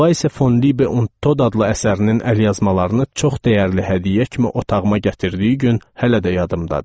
Vayse fon Libe und Tod adlı əsərinin əlyazmalarını çox dəyərli hədiyyə kimi otağıma gətirdiyi gün hələ də yadımdadır.